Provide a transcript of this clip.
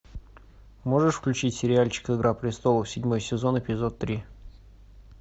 можешь включить сериальчик игра престолов седьмой сезон эпизод три